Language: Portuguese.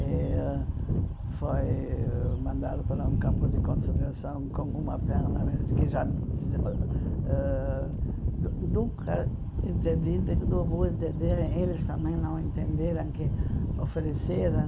E foi mandado para um campo de concentração com uma perna que já... Nun nunca entendi, não vou entender, eles também não entenderam que ofereceram...